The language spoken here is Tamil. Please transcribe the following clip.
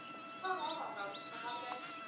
உம் ஆமா ma'am garden